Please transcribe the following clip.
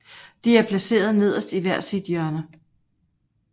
De er placeret nederst i hver sit hjørne